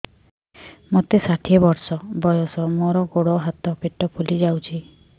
ମୋତେ ଷାଠିଏ ବର୍ଷ ବୟସ ମୋର ଗୋଡୋ ହାତ ପେଟ ଫୁଲି ଯାଉଛି